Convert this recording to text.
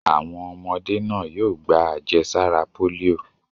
Àwọn ọmọdé náà yóò gba àjẹsára pólíò.